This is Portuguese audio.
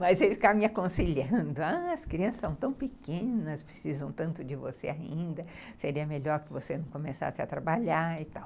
Mas ele ficava me aconselhando, as crianças são tão pequenas, precisam tanto de você ainda, seria melhor que você não começasse a trabalhar e tal.